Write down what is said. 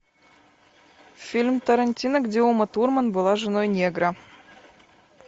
фильм тарантино где ума турман была женой негра